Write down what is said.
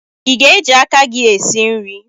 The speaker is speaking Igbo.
Ị ga-eji aka gị esi nri?